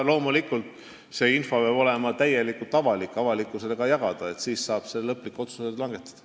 Loomulikult peab see info olema täielikult avalik, seda tuleb avalikkusega jagada, siis saab lõplikud otsused langetada.